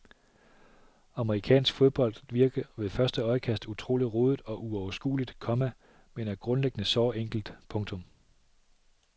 Amerikansk fodbold virker ved første øjekast utrolig rodet og uoverskueligt, komma men er grundlæggende såre enkelt. punktum